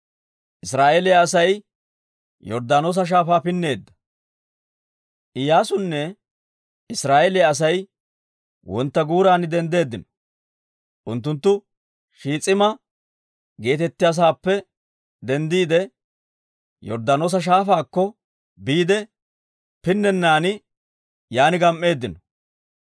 Iyyaasunne Israa'eeliyaa Asay wontta guuran denddeeddino. Unttunttu Shiis'ima geetettiyaa sa'aappe denddiide, Yorddaanoosa Shaafaakko biide pinnennan yaan gam"eeddino.